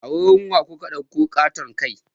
A wurin wa kuka ɗauko ƙaton kai?